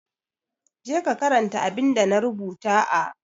Je ka karanta abinda na rubuta a